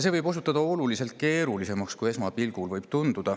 See võib osutuda oluliselt keerulisemaks, kui esmapilgul tundub.